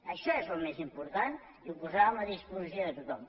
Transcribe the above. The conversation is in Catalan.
això és el més important i ho posàvem a disposició de tothom